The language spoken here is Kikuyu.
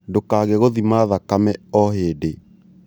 Ndũkage gũthima thakame hĩndĩ o hĩndĩ